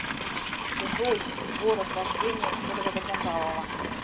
джой город рождения федора добронравова